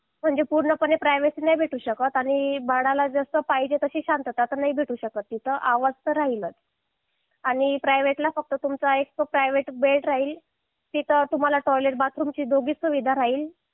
म्हणजे पूर्णपणे प्रायव्हसी नाही भेटू शकत आणि बाळाला जशी पाहिजे तशी शांतता तर नाही भेटू शकत तिथं आवाज तर राहिलाच आणि प्रायवेट ला फक्त तुमचा एक तो प्रायव्हेट बेड राहील तिथं तुम्हाला टॉयलेट बाथरूम ची दोन्ही सुविधा राहील